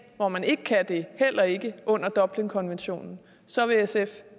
hvor man ikke kan gøre det heller ikke under dublinforordningen så vil sf